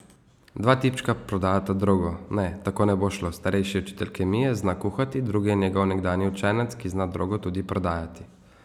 Dva tipčka prodajata drogo, ne, tako ne bo šlo, starejši je učitelj kemije, zna kuhati, drugi je njegov nekdanji učenec, ki zna drogo tudi prodajati.